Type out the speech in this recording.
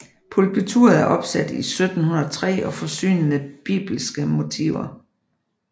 Pulpituret er opsat i 1703 og forsynet med bibliske motiver